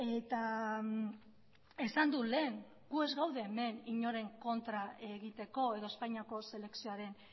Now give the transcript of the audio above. eta esan dut lehen guk ez gaude hemen inoren kontra egiteko edo espainiako selekzioaren